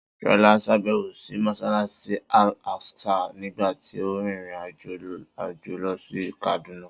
Sola ṣàbẹ̀wò sí Mọ́ṣáláṣí Al Aqsa nígbà tí ó rin ìrìn-àjò lọ sí Kaduna